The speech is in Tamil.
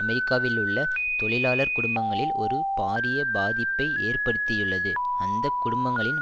அமெரிக்காவிலுள்ள தொழிலாளர் குடும்பங்களில் ஒரு பாரிய பாதிப்பை ஏற்படுத்தியுள்ளது அந்த குடும்பங்களின்